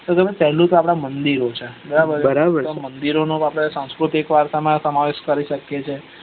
તો પેલું છ આપદ મદિર છ બરાબર છ મંદિરો નો આપડે સાંસ્કૃતિક વારસા માં સમાવેશ કરી શકીએ છીએ